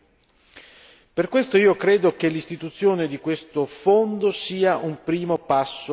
Per questo io credo che l'istituzione di questo fondo sia un primo passo in avanti.